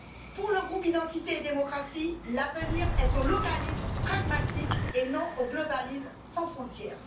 Pour le groupe Identité et démocratie, l'avenir est au localisme pragmatique, et non au globalisme sans frontières.